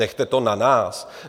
Nechte to na nás!